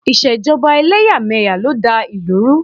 Ìṣèjọba ẹlẹ́yàmẹ̀yà ló da ìlú rú